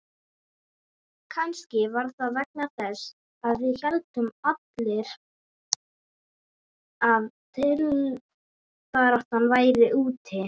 Kannski var það vegna þess að við héldum allir að titilbaráttan væri úti.